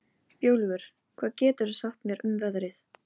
Þau biðu þar til eftir hádegi.